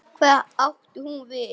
Hvað átti hún við?